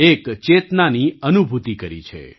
એક ચેતનાની અનુભૂતિ કરી છે